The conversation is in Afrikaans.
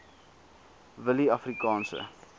willieafrikaanse